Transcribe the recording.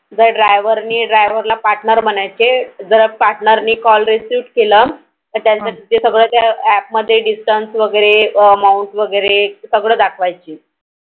जर Driver ने Driver ला Partner म्हणायचे जर Partner ने Call received केलं तर या APP मध्ये सगळं Discount वैगेरे Amount वैगेरे सगळं दाखवायचे.